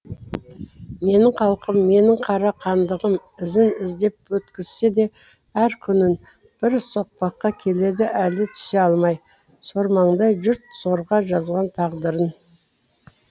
менің халқым менің қара хандығым ізін іздеп өткізсе де әр күнін бір соқпаққа келеді әлі түсе алмай сормаңдай жұрт сорға жазған тағдырын